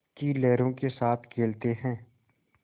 की लहरों के साथ खेलते हैं